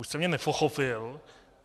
Buď jste mě nepochopil.